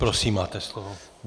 Prosím, máte slovo.